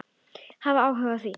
Hafa áhuga á því.